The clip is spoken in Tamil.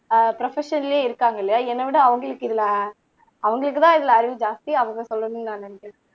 ஆஹ் ப்ரோபஸனல்லையே இருக்காங்க இல்லையா என்னை விட அவங்களுக்கு இதுல அவங்களுக்குதான் இதுல அறிவு ஜாஸ்தி அவங்க சொல்லணும்ன்னு நான் நினைக்கிறேன்